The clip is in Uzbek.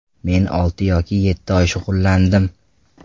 Men olti yoki yetti oy shug‘ullandim.